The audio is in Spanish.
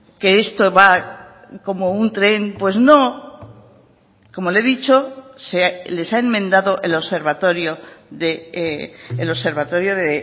que esto va como un tren pues no como le he dicho se les ha enmendado el observatorio de